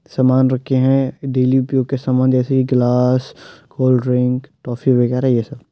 सामान रखे हैं। डेली उपयोग के सामान जैसे कि ग्लास कोल्डड्रिंक टॉफी वगैरा ये सब।